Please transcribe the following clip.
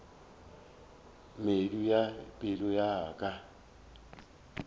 medu ya pelo ya ka